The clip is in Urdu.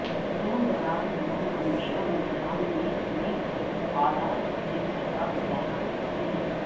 دور دراز لوگ ہمیشہ امتحان میں ایک اعلی ٹیسٹ کا مظاہرہ کرتے ہیں